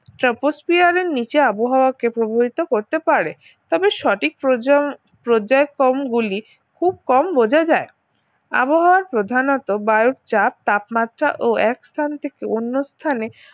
ট্রপোস্ফিয়ারের নিচে আবহাওয়া কে প্রভাবিত করতে পারে তবে সঠিক প্রজন প্রজেকম গুলি খুব কম বোঝা যায় আবহাওয়ার প্রধানত বায়ুর চাপ তাপমাত্রা ও এক স্থান থেকে অন্য স্থানে